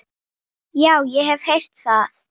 Já, ég hef heyrt það.